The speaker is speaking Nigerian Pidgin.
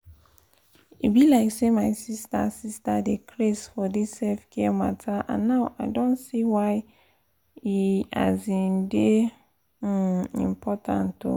e be like say my sister sister dey craze for dis self-care matter and now i don see why e um dey um important oh!